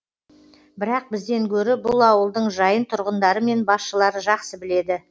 бірақ бізден гөрі бұл ауылдың жайын тұрғындары мен басшылары жақсы біледі